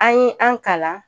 An ye an kalan